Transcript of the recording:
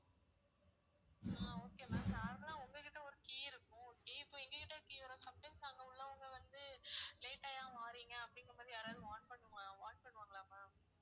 அஹ் okay ma'am normal ஆ உங்க கிட்ட ஒரு key இருக்கும் okay இப்ப எங்ககிட்ட key வரும் some times அங்க உள்ளவங்க வந்து late ஆ ஏன் வாறீங்க அப்படின்னும் போது யாராவது warn பண்ணுவா~ warn பண்ணுவாங்களா ma'am